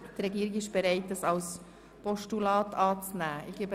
Die Regierung ist bereit, diesen Vorstoss als Postulat anzunehmen.